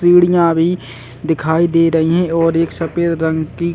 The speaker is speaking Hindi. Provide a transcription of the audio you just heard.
सीढ़ियाँ भी दिखाई दे रही हैं और एक सफ़ेद रंग की--